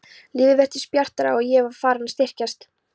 Lífið virtist bjartara og ég var farin að styrkjast.